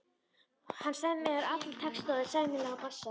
Hann semur alla texta og er sæmilegur á bassa.